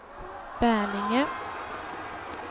Bälinge